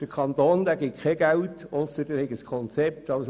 Der Kanton gibt kein Geld, wenn kein Konzept vorliegt.